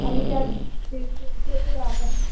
आणि त्या डेटला भेटूया आपण.